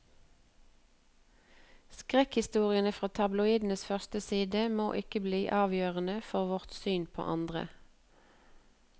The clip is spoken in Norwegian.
Skrekkhistoriene fra tabloidenes førstesider må ikke bli avgjørende for vårt syn på andre.